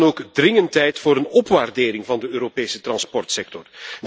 Het is dan ook dringend tijd voor een opwaardering van de Europese transportsector.